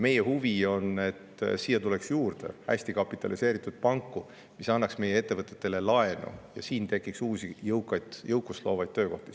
Meie huvi on, et siia tuleks juurde hästi kapitaliseeritud panku, mis annaks meie ettevõtetele laenu, ja siin tekiks uusi, jõukust loovaid töökohti.